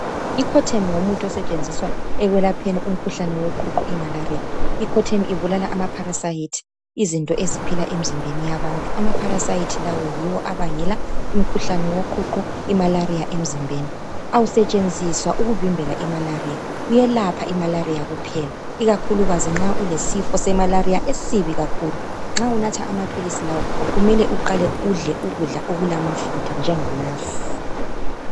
Ngumuthi osetshenziswa ekwelapheni umkhuhlane woqhuqho imalaria. l coartem ibulala ama parasites, izinto eziphila emzimbeni yabantu. Ama parasites lawa yiwo abangela umkhuhlane woqhuqho, imalaria emzimbeni. Awusetshenziswa ukuvimbela imalaria, uyelapha imalaria kuphela, ikakhulukazi nxa ulesifo semalaria esibi kakhulu. Nxa unatha amaphilisi lawa, kumele uqale udle ukudla okulamafutha njengamasi.